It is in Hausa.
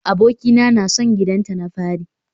Abokina na son gidanta na fari